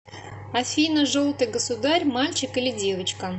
афина желтый государь мальчик или девочка